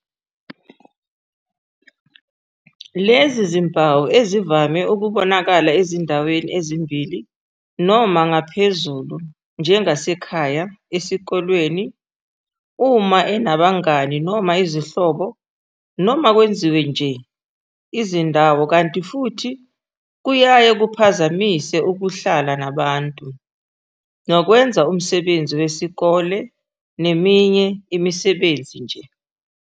"Lezi zimpawu ezivame ukubonakala ezindaweni ezimbili noma ngaphezulu njengasekhaya, esikoleni, uma enabangani noma izihlobo noma kwezinye nje izindawo kanti futhi kuyaye kuphazamise ukuhlala nabantu, nokwenza umsebenzi wesikole neminye imisebenzi nje."